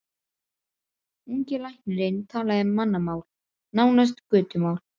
Ungi læknirinn talaði mannamál, nánast götumál.